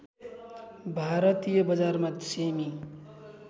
भारतीय बजारमा सेमि